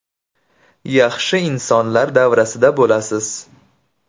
Yaxshi insonlar davrasida bo‘lasiz.